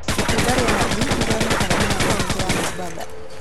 Itunda rĩa nathi nĩrĩonekaga muno kauti ya Mombatha